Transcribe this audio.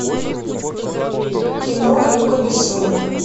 кино люка бессона